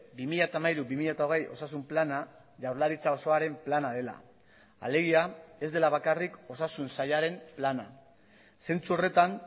bi mila hamairu bi mila hogei osasun plana jaurlaritza osoaren plana dela alegia ez dela bakarrik osasun sailaren plana zentzu horretan